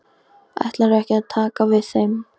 Ætlarðu ekki að taka við þeim?